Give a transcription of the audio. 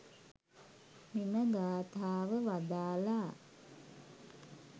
මෙම ගාථාව වදාළා.